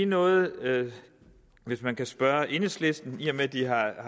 noget hvis man kan spørge enhedslisten i og med at de har